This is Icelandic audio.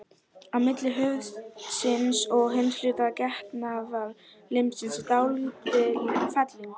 Á milli höfuðsins og hins hluta getnaðarlimsins er dálítil felling.